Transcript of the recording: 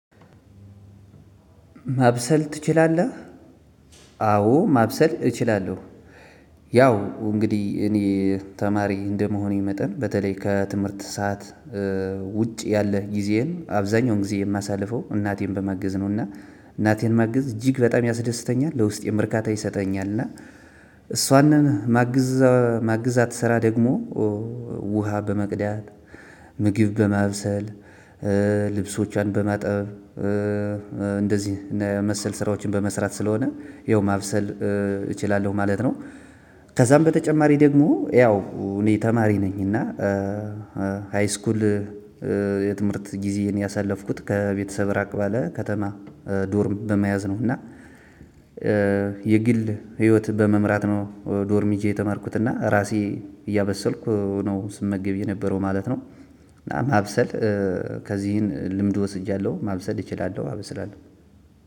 ማብሰል ትችላለህ? አዎ ማብሰል እችላለው። ያው እንግዲህ እኔ ተማሪ እንደመሆኔ መጠን በተለይ ከትምህርት ሰዓት ውጪ ያለ ጊዜን አብዛኛውን ጊዜ የማሳልፈው እናቴን በመገዝ ነው። እና እናቴን መገዝ እጅግ በጣም ያስደስተኛል ለውስጤም እርካታ ይሰጠኛል። እና እሷን ማግዛት ስራ ደግሞ ውሃ በመቅዳት ምግብ በማብሰል ልብሶችን በማጠብ መሰል ስራዎችን በመስራት ስለሆነ ያው ማብሰል እችላለሁ ማለት ነው። ከዛም በተጨማሪ ደግሞ ያው እኔ ተማሪ ነኝ እና ሃይስኩል የትምህርት ጊዜ ነው ያሳለፍኩት ከቤተሰብ ራቅ ባለ ከተማ ዶርም በመያዝ ነው። እና የግል ህይወት በመምራት ነው ዶርም ይዤ የተማርኩት እና ራሴ እያበሰልኩ ነው ስመገብ የነበረው ማለት ነው። እናጨማብሰል ከዚህን ልምድ ወስጃለሁ ማብሰል እችላለሁ አበስላለሁ።